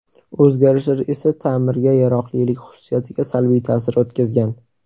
O‘zgarishlar esa ta’mirga yaroqlilik xususiyatiga salbiy ta’sir o‘tkazgan.